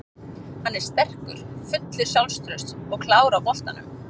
Hann er sterkur, fullur sjálfstrausts og klár á boltanum.